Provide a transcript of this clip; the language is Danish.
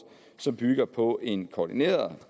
som bygger på en koordineret og